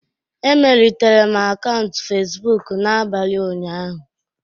Emelitere m akaụntụ facebook m n'abalị ụnyaahụ